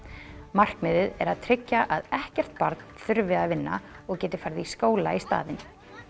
markmiðið er að tryggja að ekkert barn þurfi að vinna og geti farið í skóla í staðinn